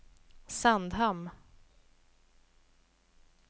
Sandhamn